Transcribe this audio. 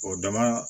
O dama